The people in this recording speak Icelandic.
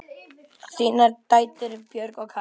Þínar dætur, Björg og Katrín.